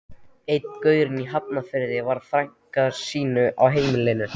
Einn gaurinn í Hafnarfirði var með frænku sína á heilanum.